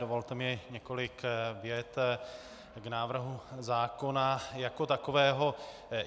Dovolte mi několik vět k návrhu zákona jako takového.